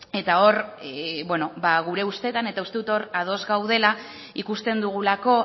eta hor gure ustetan eta uste dut hor ados gaudela ikusten dugulako